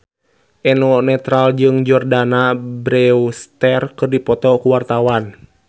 Eno Netral jeung Jordana Brewster keur dipoto ku wartawan